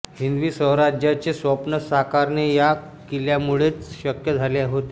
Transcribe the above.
हिंदवी स्वराज्याचे स्वप्न साकारणे या किल्यांमुळेच शक्य झाले होते